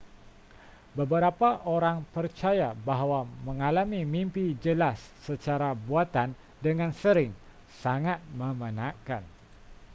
beberapa orang percaya bahawa mengalami mimpi jelas secara buatan dengan sering sangat memenatkan